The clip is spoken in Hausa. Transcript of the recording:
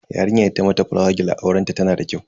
Yarinyar da ta mata fulawa gel a aurenta tana da kyau.